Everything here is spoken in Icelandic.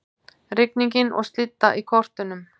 Rigning og slydda í kortunum